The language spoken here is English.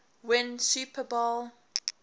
win super bowl